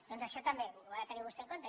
doncs això també ho ha de tenir vostè en compte